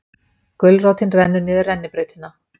Gulrótin rennur niður rennibrautina